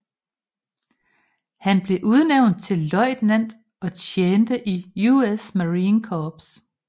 Han blev udnævnt til løjtnant og tjente i US Marine Corps